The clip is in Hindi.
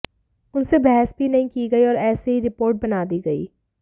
उनसे बहस भी नहीं की गयी और ऐसे ही रिपोर्ट बना दी गयी